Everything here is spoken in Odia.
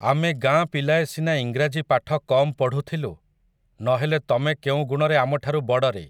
ଆମେ ଗାଁ ପିଲାଏ ସିନା ଇଂରାଜି ପାଠ କମ୍ ପଢ଼ୁଥିଲୁ, ନହେଲେ ତମେ କେଉଁଗୁଣରେ ଆମଠାରୁ ବଡ଼ରେ ।